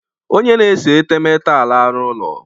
Onye na-ese etemeete alala ụlọ